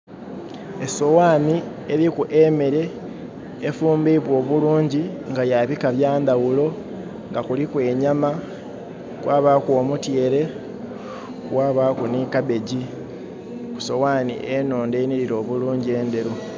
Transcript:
Esowani eriku emere efumbibwa obulungi nga ya bika byandawulo nga kuliku enyama kwabaaku omutyeere kwabaaku ni kabbegi kusowani enondho enirira obulungi enderu